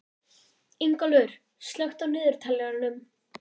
Ingólfur, slökktu á niðurteljaranum.